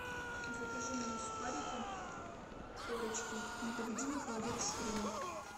закажи мне сухарики корочки непобедимый холодец с хреном